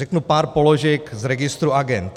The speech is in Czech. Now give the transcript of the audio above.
Řeknu pár položek z registru agend.